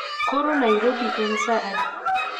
Koro nairobi en saa adi